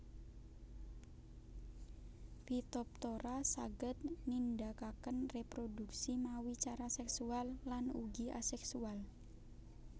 Phytophthora saged nindakaken réprodhuksi mawi cara seksual lan ugi aseksual